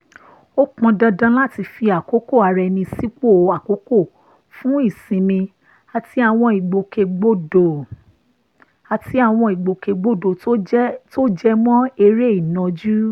ó pọn dandan láti fi àkókò ara ẹni sípò àkọ́kọ́ fún ìsinmi àti àwọn ìgbòkègbodò àti àwọn ìgbòkègbodò tó jẹ mọ́ eré ìnàjú